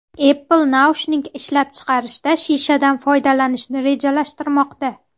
Apple naushnik ishlab chiqarishda shishadan foydalanishni rejalashtirmoqda.